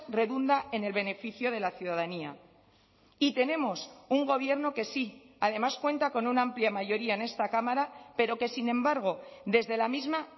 redunda en el beneficio de la ciudadanía y tenemos un gobierno que sí además cuenta con una amplia mayoría en esta cámara pero que sin embargo desde la misma